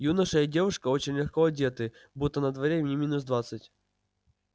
юноша и девушка очень легко одетые будто на дворе не минус двадцать